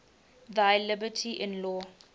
thy liberty in law